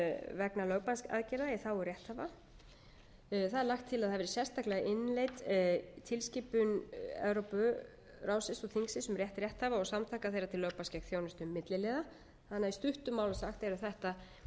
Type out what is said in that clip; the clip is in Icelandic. vegna lögbannsaðgerða í þágu rétthafa það er lagt til að það verði sérstaklega innleidd tilskipun evrópuþingsins og ráðsins um rétt rétthafa og samtaka þeirra til lögbanns gegn þjónustu milliliða í stuttu máli sagt eru þetta þau nýmæli sem hér